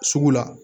Sugu la